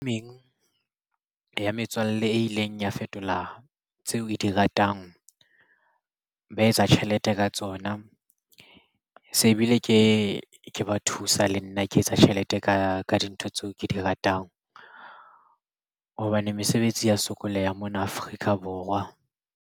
Ya metswalle e ileng ya fetola tseo e di ratang ba etsa tjhelete ka tsona se bile ke ba thusa le nna ke etsa tjhelete ka dintho tseo ke di ratang hobane mesebetsi ya sokoleha mona Afrika Borwa.